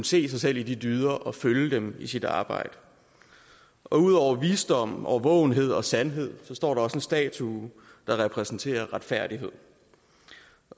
se sig selv i de dyder og følge dem i sit arbejde ud over visdom årvågenhed og sandhed står der også en statue der repræsenterer retfærdighed